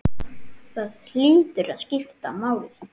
Það hlýtur að skipta máli?